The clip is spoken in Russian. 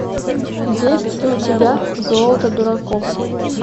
есть ли у тебя золото дураков